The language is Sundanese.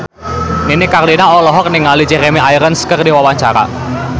Nini Carlina olohok ningali Jeremy Irons keur diwawancara